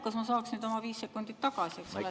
Kas ma saaksin nüüd oma 5 sekundit tagasi?